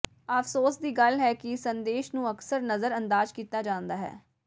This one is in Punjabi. ਅਫ਼ਸੋਸ ਦੀ ਗੱਲ ਹੈ ਕਿ ਸੰਦੇਸ਼ ਨੂੰ ਅਕਸਰ ਨਜ਼ਰ ਅੰਦਾਜ਼ ਕੀਤਾ ਜਾਂਦਾ ਹੈ